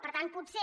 per tant potser